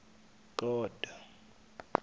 god